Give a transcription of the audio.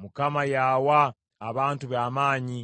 Mukama y’awa abantu be amaanyi,